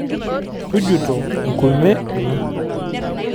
Tujuto enkume ino.